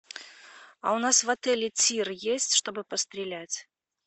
а у нас в отеле тир есть чтобы пострелять